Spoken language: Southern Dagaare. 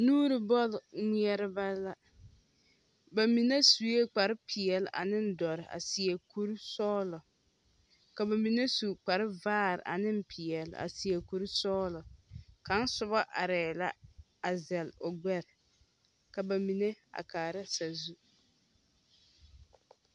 Nuuri bɔle ŋmeɛrebɛ la ba mie su kpare peɛle aneŋ dɔre a seɛ kuri sɔgelɔ. ka ba mine su kpare vaare ane peɛle aseɛ kuri sɔgelɔ kaŋ soba arɛ1 la azɛle o gbɛre ka ba mine a kaara sazu